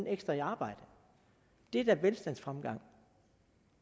ekstra i arbejde det er da velstandsfremgang